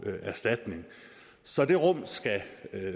erstatning så det rum skal